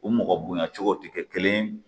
U mɔgɔ bonya cogow ti kɛ kelen ye.